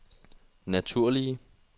naturlige